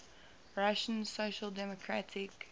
russian social democratic